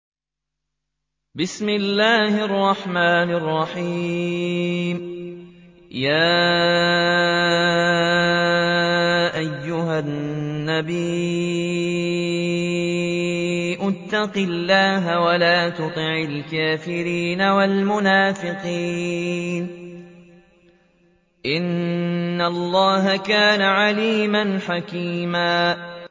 يَا أَيُّهَا النَّبِيُّ اتَّقِ اللَّهَ وَلَا تُطِعِ الْكَافِرِينَ وَالْمُنَافِقِينَ ۗ إِنَّ اللَّهَ كَانَ عَلِيمًا حَكِيمًا